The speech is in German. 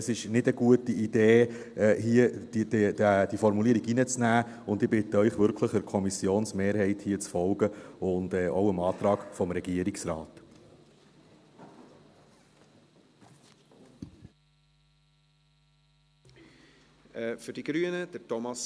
Es ist keine gute Idee, diese Formulierung hier reinzunehmen, und ich bitte Sie wirklich, der Kommissionsmehrheit zu folgen und auch dem Antrag des Regierungsrates.